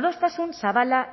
adostasun zabala